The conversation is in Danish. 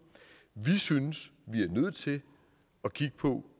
vi synes vi er nødt til at kigge på